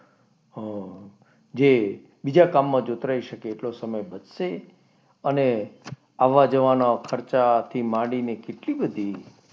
અમ જે બીજા કામમાં જોતરાઈ શકે તેટલો સમય બચશે. અને આવા જવાના ખર્ચા થી માંડીને કેટલી બધી,